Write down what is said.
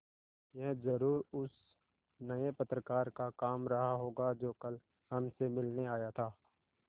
यह ज़रूर उस नये पत्रकार का काम रहा होगा जो कल हमसे मिलने आया था